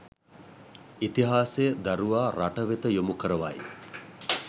ඉතිහාසය දරුවා රටවෙත යොමු කරවයි